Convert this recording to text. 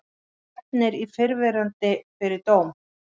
Stefnir fyrrverandi fyrir dóm